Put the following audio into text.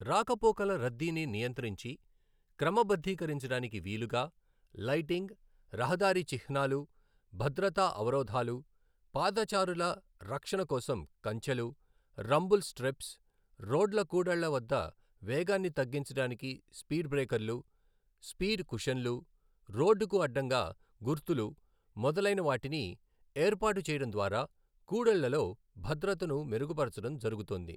రాకపోకల రద్దీని నియంత్రించి, క్రమబద్ధీకరించడానికి వీలుగా, లైటింగ్, రహదారి చిహ్నాలు, భద్రతా అవరోధాలు, పాదచారుల రక్షణ కోసం కంచెలు, రంబుల్ స్ట్రిప్స్, రోడ్ల కూడళ్ళ వద్ద వేగాన్ని తగ్గించడానికి స్పీడ్ బ్రేకర్లు, స్పీడ్ కుషన్లు, రోడ్డుకు అడ్డంగా గుర్తులు మొదలైన వాటిని ఏర్పాటు చేయడం ద్వారా కూడళ్ళలో భద్రతను మెరుగుపరచడం జరుగుతోంది.